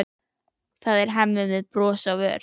Það er Hemmi með bros á vör.